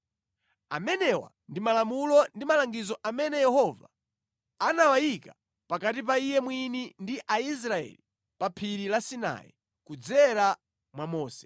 Amenewa ndi malamulo ndi malangizo amene Yehova anawayika pakati pa Iye mwini ndi Aisraeli pa Phiri la Sinai kudzera mwa Mose.